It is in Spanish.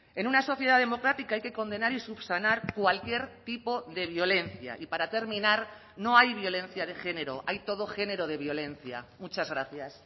en una sociedad democrática hay que condenar y subsanar cualquier tipo de violencia y para terminar no hay violencia de género hay todo género de violencia muchas gracias